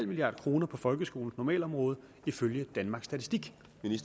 milliard kroner på folkeskolens normalområde ifølge danmarks statistik